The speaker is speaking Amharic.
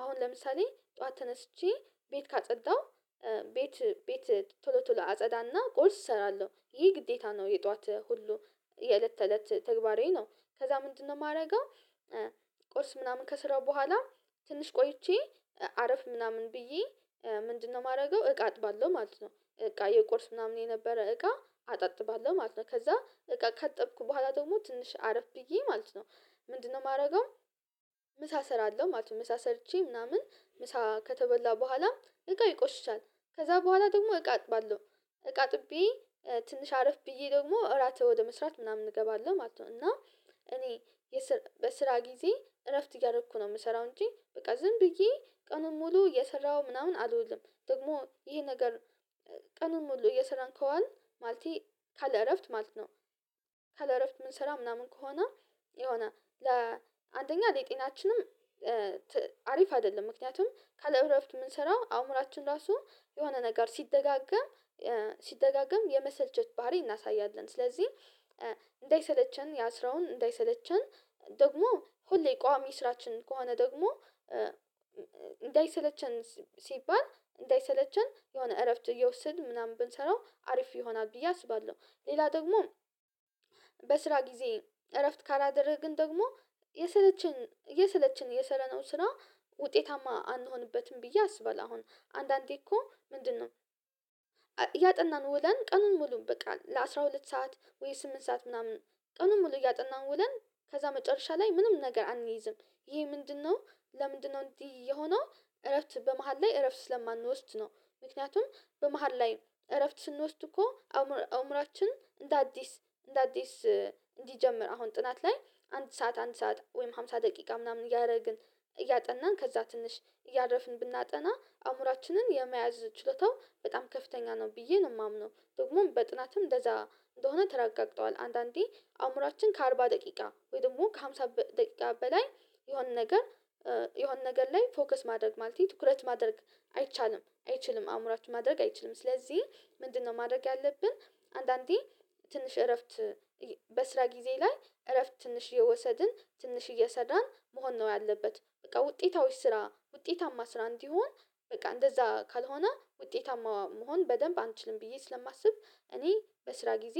አሁን ለምሳሌ ጠዋት ተነስቼ ቤት ካጸዳሁ ቤት ቤት ቶሎ ቶሎ አጸዳና ቁርስ እሰራለሁ ይህ ግዴታ ነው የጠዋት ሁሉ የእለት ተእለት ተግባሬ ነው ከዛ ምንድነው ማደርገው ቁርስ ምናምን ከስራው በኋላ ትንሽ ቆይቼ አረፍ ምናምን ብዬ ምንድነው ማደርገው እቃ አጥባለሁ ማለት ነው እቃ ቁርስ ምናምን የነበረ እቃ አጥባለሁ ማለት ነው ከዛ እቃ ካጥብኩ በኋላ ደግሞ ትንሽ አረፍ ብዬ ማለት ነው ምንድነው ማደርገው ምሳ ሰራለሁ ማለት ነው ምሳ ሰርቼ ምናምን ምሳ ከተበላ በኋላም እቃ ይቆሽሻል ከዛ በኋላ ደግሞ እቃ አጥባለሁ እቃ አጥቤ ትንሽ አረፍ ብዬ ደግሞ እራትን ወደ መስራት ምናምን እገባለሁ ማለት ነው እና እኔ በስራ ጊዜ እረፍት እያረኩ ነው ምሰራው እንጂ በቃ ዝም ብዬ ቀኑን ሙሉ እሰራው ምናምን አልውልም ደግሞ ይሄ ነገር ቀንን ሙሉ እየሰራን ከዋልን ማለቴ ካለ እረፍት ማለት ነው ካለ እረፍት ምንሰራ ምናምን ከሆነ የሆነ ለ አንደኛ ሌጤናችንም አሪፍ አይደለም ምክንያቱም ካለእረፍት ምንሰራው አእምሮአችን ራሱ የሆነ ነገር ሲደጋገም ሲደጋገም የመሰልቸት ባህሪ እናሳያለን። ስለዚህ፣ እንዳይሰለቸን ያስረውን እንዳይሰለቸን ደግሞ፣ ሁሌ ቋሚ ስራችን ከሆነ ደግሞ እንዳይሰለቸን ሲባል እንዳይሰለቸን የሆነ እረፍት እየወሰድን፣ ምናምን ብንሰራው አሪፍ ይሆናል ብዬ አስባለሁ። ሌላ ደግሞ በስራ ጊዜ እረፍት ካላደረግን ደግሞ፣ የስለችን የስለችን የሰራነው ስራ ውጤታማ አንሆንበትም ብዬ አስባለሁ አሁን አንዳንዴ እኮ፣ ምንድነው ያጠናን ውልን ቀን ሙሉ በቃ ለአሥራ ሁለት ሰዓት ወይ ስምንት ሰዓት ምናምን ቀኑን ሙሉ እያጠናን ውለን፣ ከዛ መጨረሻ ላይ ምንም ነገር አንይዝም። ይሄ ምንድነው? ለምንድነው እንዲህ የሆነው እረፍት በመሃል ላይ እረፍት ስለማንወስድ ነው። ምክንያቱም፣ በመሃል ላይ እረፍት ስንወስድ እኮ አእምሮአችን እንደ አዲስ፣ እንደ አዲስ እንዲጀምር፣ አሁን ጥናት ላይ አንድ ሰዓት፣ አንድ ሰዓት ወይም ሃምሳ ደቂቃ ምናምን እያረግን፣ እያጠናን፣ ከዛ ትንሽ እያረፍን ብናጠና አእምሮአችንን የመያዝ ችሎታው በጣም ከፍተኛ ነው ብዬ ነው ማምነው። ደግሞም፣ በጥናትም እንደዛ እንደሆነ ተረጋግጠዋል። አንዳንዴ አእምሮአችን ከአርባ ደቂቃ ወይ ደግሞ ከአምሳ ደቂቃ በላይ የሆነ ነገር የሆነ ነገር ላይ ፎከስ ማድረግ፣ ማለቴ ትኩረት ማድረግ አይቻልም አይችልም። አእምሮአችን ማድረግ አይችልም ስለዚህ፣ ምንድነው ማድረግ ያለብን? አንዳንዴ ትንሽ እረፍት በስራ ጊዜ ላይ እረፍት ትንሽ እየወሰድን ትንሽ እየስራን መሆን ነው ያለበት በቃ፣ ውጤታዊ ስራ፣ ውጤታማ ስራ እንዲሆን በቃ፣ እንደዛ ካልሆነ ውጤታማ መሆን በደንብ አንችልም ብዬ ስለማስብ፣ እኔ በስራ ጊዜ